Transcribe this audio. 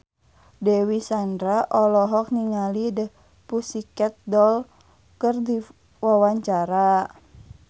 Dewi Sandra olohok ningali The Pussycat Dolls keur diwawancara